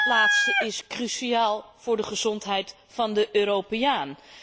Dat laatste is cruciaal voor de gezondheid van de Europeaan.